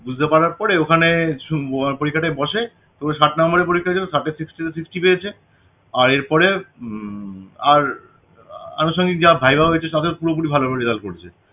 বুঝতে পারার পরে ওখানে পরীক্ষাটায় বসে তো ষাট নাম্বারের পরীক্ষা ছিল ষাটে sixty তে sixty পেয়েছে আর এর পরে উম আর আনুষঙ্গিক যা viva হয়েছে তাতে পুরোপুরি ভাল result করেছে